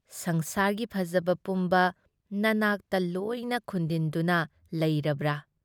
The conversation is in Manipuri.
ꯁꯪꯁꯥꯔꯒꯤ ꯐꯖꯕ ꯄꯨꯝꯕ ꯅꯅꯥꯛꯇ ꯂꯣꯏꯅ ꯈꯨꯟꯗꯤꯟꯗꯨꯅ ꯂꯩꯔꯕ꯭ꯔꯥ?